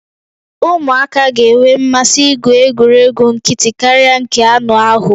Ụmụaka ga-enwe mmasị igwu egwuregwu nkịtị karịa nke anụ ahụ